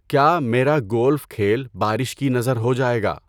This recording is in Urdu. کیا میرا گولف کھیل بارش کی نذر ہو جائے گا؟